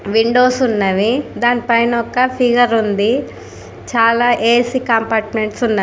Windows ఉన్నవి దానిపైన ఒక్క ఫిగర్ ఉంది. చాల ఏ-సి కంపార్ట్మెంట్ ఉన్నవి.